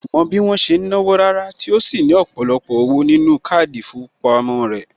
Kò mọ bí wọ́n ṣe ń náwó Rárá tí ó sì ní ọ̀pọ̀lọpọ̀ owó nínú káàdì ìfowópamọ́ sí rẹ̀